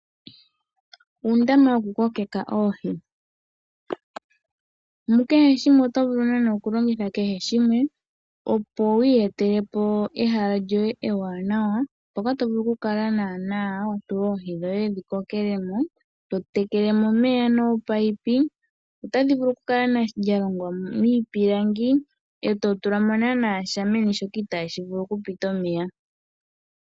Uundama wokukokeka oohi. Mu kehe shimwe oto vulu naanaa okulongitha kehe shimwe, opo wi iyetele po ehala lyoye ewanawa, mpoka to vulu okukala wa tula oohi dhoye dhi kokele mo, to tekele mo omeya noopaipi. Otali vulu okukala lya longwa miipilangi e to tula mo sha meni shoka itaashi vulu okupita omeya.